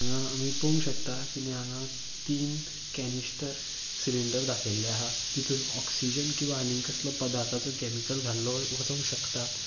हिंगा आमी पोंक शकता किदे हांगा तीन केनिस्टर सिलिंडर दाखयल्ले आहा तीतून ऑक्सिजन किंवा आणि कसलो पदार्थाचो केमिकल घाल्लो वचोंग शकता.